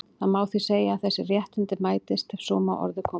Það má því segja að þessi réttindi mætist, ef svo má að orði komast.